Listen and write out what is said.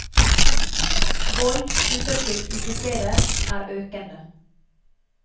Vold knyttet til utesteder er økende.